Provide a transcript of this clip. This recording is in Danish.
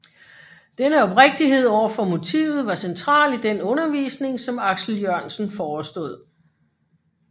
Denne oprigtighed over for motivet var central i den undervisning som Aksel Jørgensen forestod